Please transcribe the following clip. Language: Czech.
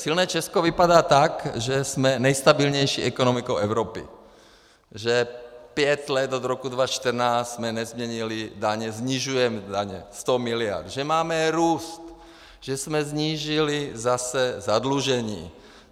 Silné Česko vypadá tak, že jsme nejstabilnější ekonomikou Evropy, že pět let od roku 2014 jsme nezměnili daně, snižujeme daně, 100 miliard, že máme růst, že jsme snížili zase zadlužení.